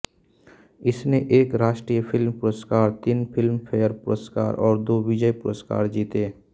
इसने एक राष्ट्रीय फ़िल्म पुरस्कार तीन फिल्मफेयर पुरस्कार और दो विजय पुरस्कार जीते